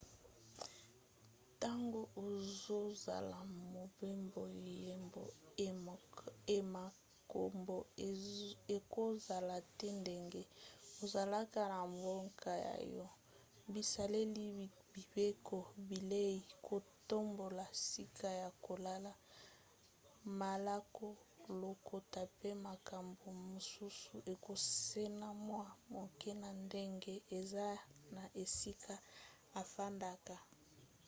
ntango ozosala mobembo yeba ete makambo ekozala te ndenge ezalaka na mboka na yo". bizaleli mibeko bilei kotambola sika ya kolala malako lokota pe makambo mosusu ekokesena mwa moke na ndenge eza na esika ofandaka